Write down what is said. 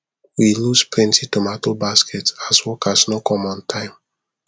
we lose plenty tomato basket as workers no come on time